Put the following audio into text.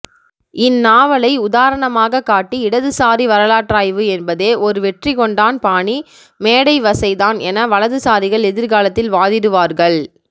இந்நாவலை உதாரணமாகக் காட்டி இடதுசாரி வரலாற்றாய்வு என்பதே ஒரு வெற்றிகொண்டான் பாணி மேடைவசைதான் என வலதுசாரிகள் எதிர்காலத்தில் வாதிடுவார்கள்